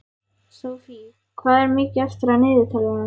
Sophie, hvað er mikið eftir af niðurteljaranum?